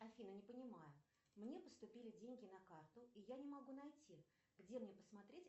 афина не понимаю мне поступили деньги на карту и я не могу найти где мне посмотреть